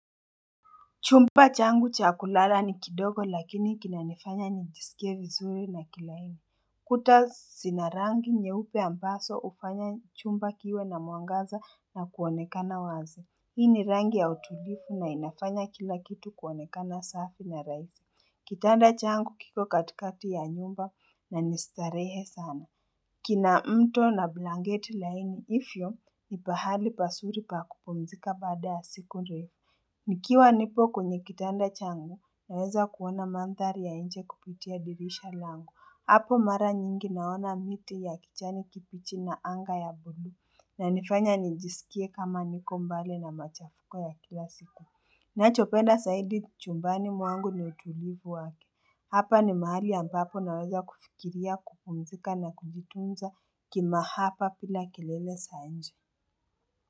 Chumba changu cha kulala ni kidogo lakini kinanifanya nijisikie vizuri na kilaini. Kuta zina rangi nyeupe ambazho ufanya chumba kiwe na mwangaza na kuonekana wazi. Hii ni rangi ya utulivu na inafanya kila kitu kuonekana safi na rahisi. Kitanda changu kiko katikati ya nyumba na ni starehe sana. Kina mto na blanketi laini hivyo ni pahali pazuri pa kupumzika baada ya siku ndefu. Nikiwa nipo kwenye kitanda changu naweza kuona mandhari ya nje kupitia dirisha langu hapo mara nyingi naona miti ya kijani kibichi na anga ya bluu inanifanya nijisikie kama niko mbali na machafuko ya kila siku Ninachopenda zaidi chumbani mwangu ni utulivu wa Hapa ni mahali ambapo naweza kufikiria kupumzika na kujitunza kimahaba bila kelele za nje.